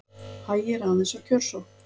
Hægir aðeins á kjörsókn